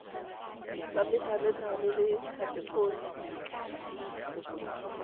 tsa methalethale ya khatekori b